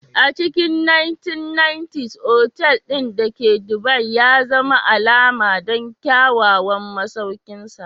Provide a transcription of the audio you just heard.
A cikin 1990s, otal ɗin da ke Dubai ya zama alama don kyawawan masaukinsa.